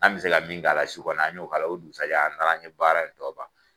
An kun bɛ se ka min k'a la su kɔnɔ an y'o k'a la o dugusagɛ an taara an ye baara in tɔ ban.